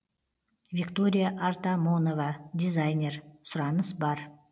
виктория артамонова дизайнер сұраныс бар